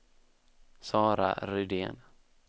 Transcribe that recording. Sara Rydén